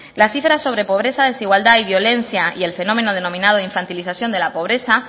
las cifras sobre pobreza desigualdad y violencia y el fenómeno denominado infantilización de la pobreza